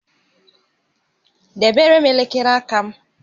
Debere m elekere aka m!